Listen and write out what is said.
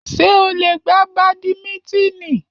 Ṣé o lè gbá badimítínì?